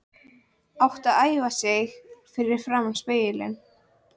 Átti að æfa sig fyrir framan spegil.